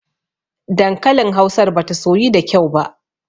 Dankalin hausar bata soyu da kyau ba.